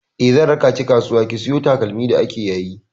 Eh, zan raka ki kasuwa ki saya takalma da ake yayi.